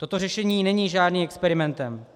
Toto řešení není žádným experimentem.